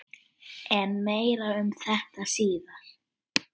En meira um þetta síðar.